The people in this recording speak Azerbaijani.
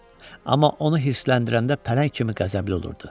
Amma onu hiddətləndirəndə pələng kimi qəzəbli olurdu.